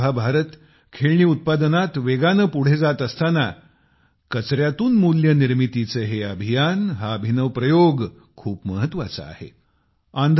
आज जेव्हा भारत खेळणी उत्पादनात वेगाने पुढे जात असताना कचऱ्यातून मूल्य निर्मितीचे हे अभियान हा अभिनव प्रयोग खूप महत्वाचा आहे